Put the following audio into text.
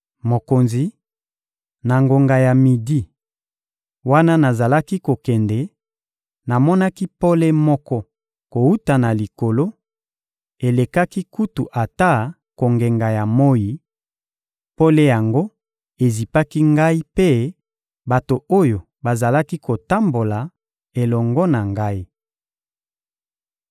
Mokonzi, na ngonga ya midi, wana nazalaki kokende, namonaki pole moko kowuta na likolo, elekaki kutu ata kongenga ya moyi; pole yango ezipaki ngai mpe bato oyo bazalaki kotambola elongo na ngai.